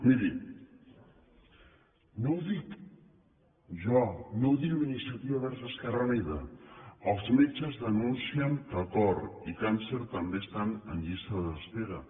miri no ho dic jo no ho diu iniciativa verds esquerra unida els metges denuncien que cor i càncer també estan en llista d’espera